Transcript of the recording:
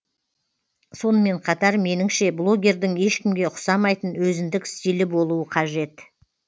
сонымен қатар меніңше блогердің ешкімге ұқсамайтын өзіндік стилі болуы қажет